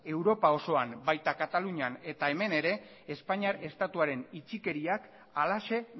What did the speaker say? europa osoan baita kaitalunian eta hemen ere espainiar estatuaren itxikeriak halaxe